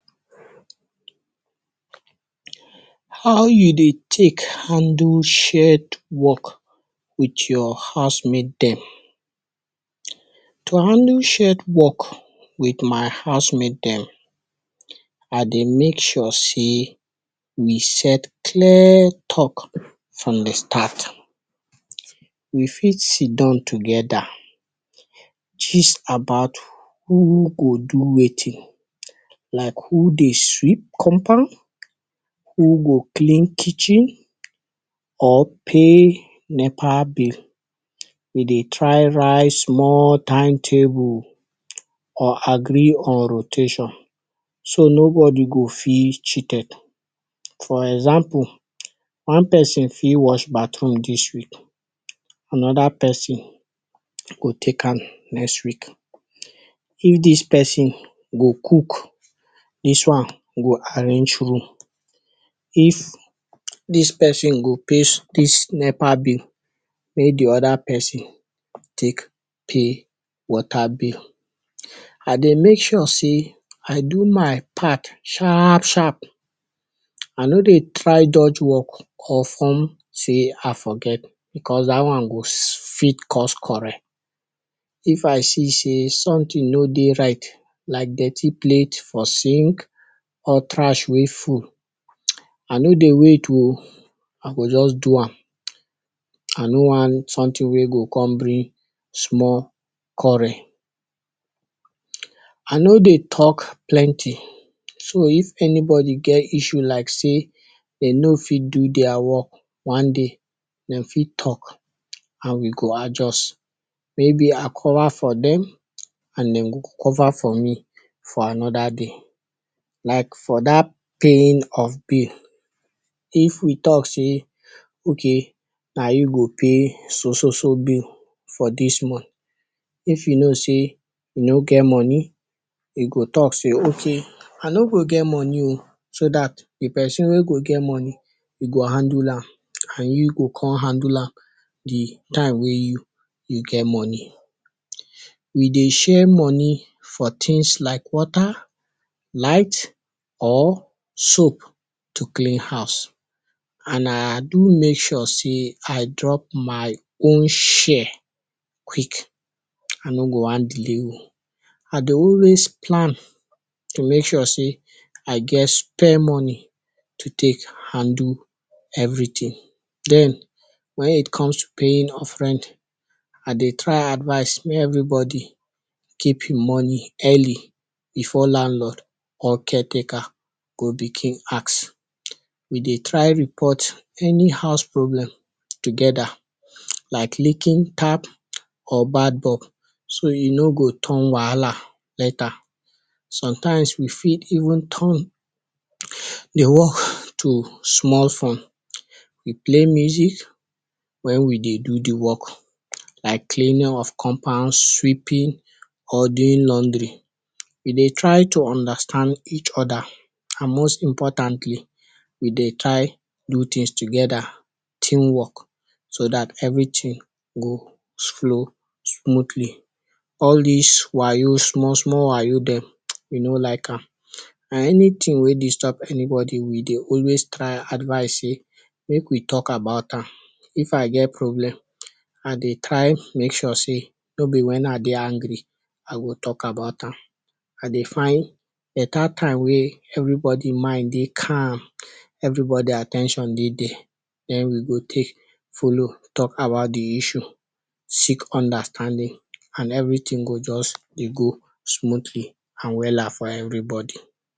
How you dey tek handle shared work wit your housemate dem? To handle shared work wit my housemate dem, I dey make sure sey we set clear talk from di start. We fit sitdown togeda, gist about who go do wetin like who dey sweep compound, who go clean kitchen or pay nepa bill. We dey try write small timetable or agree on rotation so nobody go feel cheated. For example, one person fit watch bathroom dis week, anoda person go take am next week. If dis person go cook, dis one go arrange room. If dis person go pay dis nepa bill, mek di oda person tek pay water bill. I dey make sure sey I do my part sharp sharp. I no dey try dodge work or form sey I forget because dat one go fit cause quarrel. If I see sey sometin no dey right like dirty plate for sink or trash wey full, I no dey wait o, I go just do am, I no wan sometin wey go kon bring small quarrel. I no dey talk plenty, so, if anybody get issue like sey den no fit do dia work, one day, den fit talk and we go adjust, maybe I cover for dem, and den go cover for me for anoda day. Like for dat paying of bill, if we talk sey, ok, na you go pay so so so bill for dis mont, if you know sey you no get money, you go talk sey, ok, I no go get money o so dat di person wey go get money e go handle am and you go kon handle am di time wey you you get money. We dey share money for tins like water, light or soap to clean house and I do make sure sey I drop my own share quick, I no go wan delay o. I dey always plan to make sure sey I get spare money to tek handle everytin, den, when it comes to paying offering, I dey try advice mey every body keep e money early before landlord or caretaker go begin ask. We dey try report any house problem togeda like licking tap or bad bulb, so, e no go turn wahala later. Sometimes, we fit even turn di work to small fun we play music wen we dey do di work, like cleaning of compound, sweeping or doing laundry, we dey try to understand each oda and most importantly we dey try do tins togeda, team work so dat everytin go flow smootly. All dis wayo, small small wayo dem, we no like am, and anytin wey disturb anybody we dey always try advice sey mek we talk about am. If I get problem, I dey try make sure sey no be wen I dey angry, I go talk about am, I dey find beta time wey everybody mind dey calm, everybody at ten tion dey dier, den we go tek follow talk about di issue, seek understanding and everytin go just dey go smootly and wella for everybody.